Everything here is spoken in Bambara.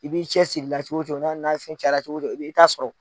I b'i cɛsirila cogo cogo cayara cogo don i b'i ta sɔrɔ.